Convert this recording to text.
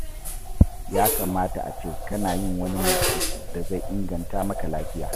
Ya kamata a ce kana yin wani motsi da zai inganta maka lafiya.